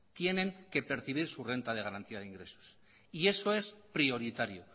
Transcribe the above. tienen que percibir su renta de garantía de ingresos y eso es prioritario